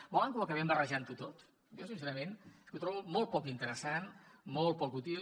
volen que ho acabem barrejant tot jo sincerament és que ho trobo molt poc interessant molt poc útil